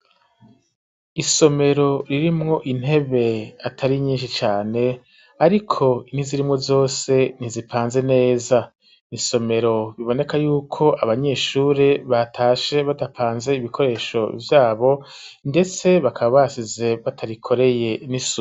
Isomero ririmwo intebe atari nyinshi cane, ariko n'izirimwo zose ntizipanze neza, nisomero biboneka yuko abanyeshuri batashe badapanze ibikoresho vyabo, ndetse bakaba basize batarikoreye n'isuku.